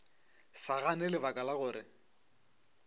sa gane lebaka la gore